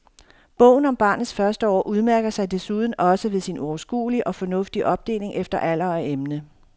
Bogen om barnets første år udmærker sig desuden også ved sin overskuelige og fornuftige opdeling efter alder og emne.